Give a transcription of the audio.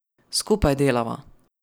Skupaj delava.